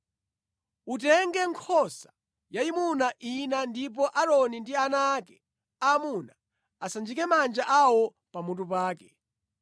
“Utenge nkhosa yayimuna ina ndipo Aaroni ndi ana ake aamuna asanjike manja awo pamutu pake.